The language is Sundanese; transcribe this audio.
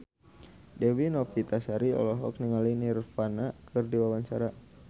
Dewi Novitasari olohok ningali Nirvana keur diwawancara